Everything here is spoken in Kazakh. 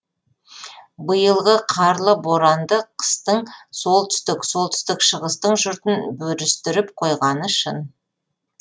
биылғы қарлы боранды қыстың солтүстік солтүстік шығыстың жұртын бүрістіріп қойғаны шын